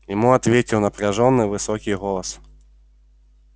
ему ответил напряжённый высокий голос